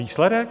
Výsledek?